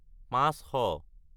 পাঁচশ